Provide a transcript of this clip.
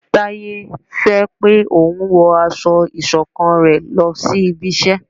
Taye fẹ pé òun wọ aṣọ iṣọ̀kan rẹ lòsí ibí iṣẹ